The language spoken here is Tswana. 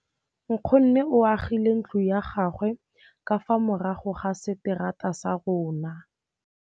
Nkgonne o agile ntlo ya gagwe ka fa morago ga seterata sa rona.